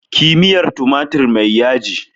Yi miya tumatir mai yaji!